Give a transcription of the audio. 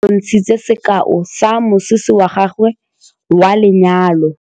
Nnake o re bontshitse sekaô sa mosese wa gagwe wa lenyalo.